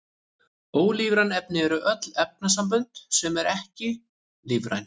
Ólífræn efni eru öll efnasambönd sem eru ekki lífræn.